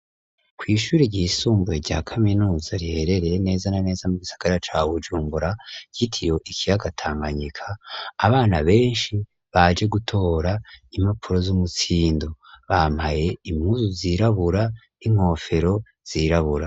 Kw'ishuri ry'isumbuye rya kaminuza riherereye neza na neza mu isagara ca Bujumbura, ryitiriwe ikiyaga Tanganyika, abana benshi baje gutora impapuro z'umutsindo bampaye impuzu zirabura n'inkofero zirabura.